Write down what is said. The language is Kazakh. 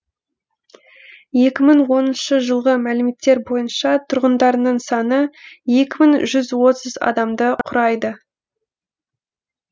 екі мың оныншы жылғы мәліметтер бойынша тұрғындарының саны екі мың жүз отыз адамды құрайды